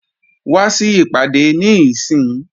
Wá sí ìpàdé níìsín!